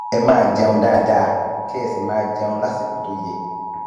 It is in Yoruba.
ẹ máa jẹun dáadáa kẹ ẹ sì máa jẹun lásìkò tó yẹ